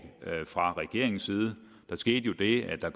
fra regeringens side der skete jo det at der